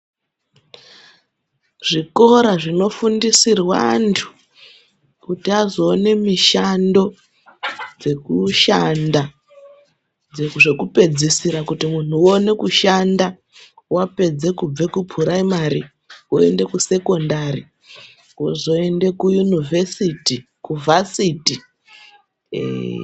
Zvikora zvinofundisirwa antu kuti azoone mishando dzekushanda dzekupedzisira. Kuti muntu aone kushanda vapedze kubva kupuraimari voende kusekondari vozoende kuyunivesiti kuvhasiti ee.